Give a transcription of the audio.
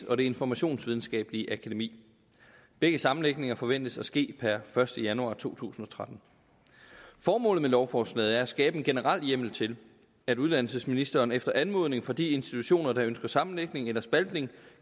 og det informationsvidenskabelige akademi begge sammenlægninger forventes at ske per første januar to tusind og tretten formålet med lovforslaget er at skabe en generel hjemmel til at uddannelsesministeren efter anmodning fra de institutioner der ønsker sammenlægning eller spaltning